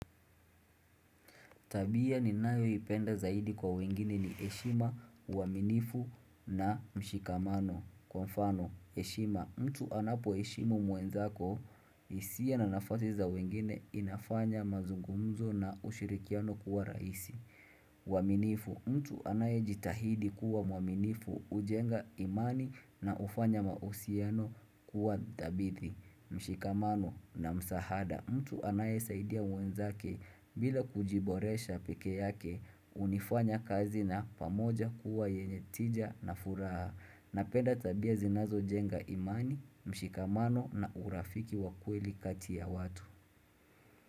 Tabia ni nayo ipenda zaidi kwa wengine ni eshima, uwaminifu na mshikamano. Kwa mfano, eshima, mtu anapo eshimu mwenzako, isia na nafasi za wengine inafanya mazungumzo na ushirikiano kuwa raisi. Uwaminifu, mtu anaye jitahidi kuwa mwaminifu, ujenga imani na ufanya mausiano kuwa dabithi. Mshikamano na msahada mtu anaye saidia mwenzake bila kujiboresha pekeyake unifanya kazi na pamoja kuwa yenye tija na furaha na penda tabia zinazo jenga imani, mshikamano na urafiki wakweli kati ya watu.